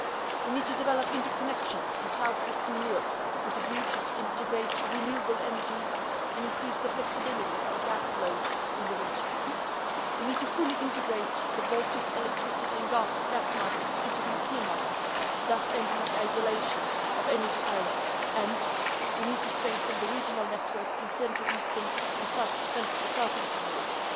We need to develop interconnections in south western Europe with a view to integrating renewable energies and increasing the flexibility of gas flows in the region. We need to fully integrate the Baltic electricity and gas market into the European market, thus ending the isolation of energy islands, and we need to strengthen the regional network in central eastern and south eastern Europe.